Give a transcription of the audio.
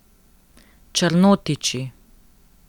Črnotiči.